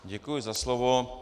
Děkuji za slovo.